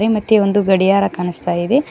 ಮತ್ತೆ ಒಂದು ಗಡಿಯಾರ ಕಾಣಿಸ್ತಾ ಇದೆ.